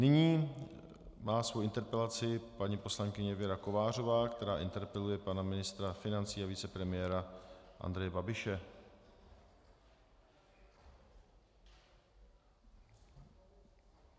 Nyní má svoji interpelaci paní poslankyně Věra Kovářová, která interpeluje pana ministra financí a vicepremiéra Andreje Babiše.